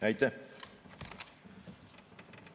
Aitäh!